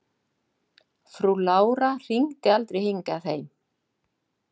Frú Lára hringdi aldrei hingað heim.